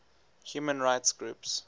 human rights groups